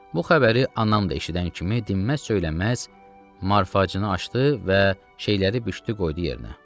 Bu xəbəri anam da eşidən kimi dinməz-söyləməz Marfaçını açdı və şeyləri büşdü qoydu yerinə.